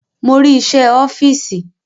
Mo rí iṣẹ́ ẹ ọ́fíìsì